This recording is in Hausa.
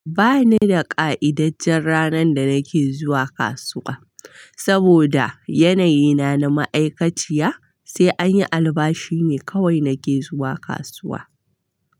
Ba ni da ƙa'idajjen ranan da nake zuwa kasuwa, saboda yanayi na na ma'aikaciya, sai anyi albashi ne kawai nake zuwa kasuwa.